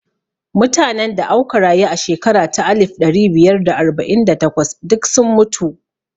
Mutanen da auka rayu a shekara ta alif ɗari biyar da arba'in da takwas duk sun mutu